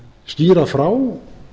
skýra frá